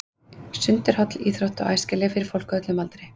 Sund er holl íþrótt og æskileg fyrir fólk á öllum aldri.